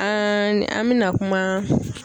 An an mina kuma.